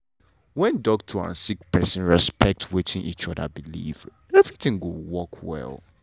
wen doctor and sick pesin respect wetin each oda believe everything go work well.